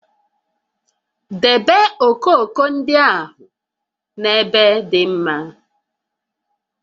Debe okooko ndị ahụ n'ebe dị mma!